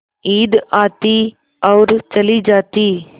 ईद आती और चली जाती